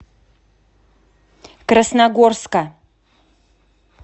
красногорска